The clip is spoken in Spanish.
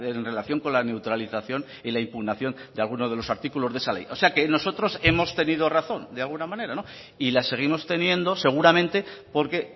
en relación con la neutralización y la impugnación de alguno de los artículos de esa ley o sea que nosotros hemos tenido razón de alguna manera y la seguimos teniendo seguramente porque